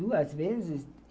Duas vezes.